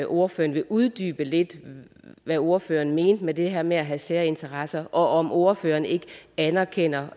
ordføreren uddyber lidt hvad ordføreren mente med det her med at have særinteresser og om ordføreren ikke anerkender